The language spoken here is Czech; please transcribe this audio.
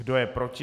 Kdo je proti?